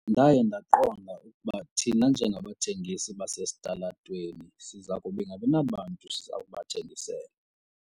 Ndaye ndaqonda ukuba thina njengabathengisi basesitalatweni siza kungabi nabantu siza kubathengisela.